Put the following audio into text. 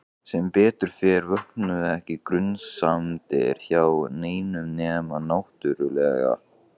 Sem betur fer vöknuðu ekki grunsemdir hjá neinum nema náttúrlega